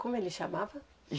Como ele chamava?